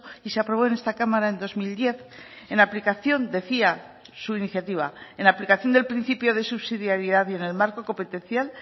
y se aprobó en esta cámara en dos mil diez en aplicación decía su iniciativa en aplicación del principio de subsidiaridad y en el marco competencial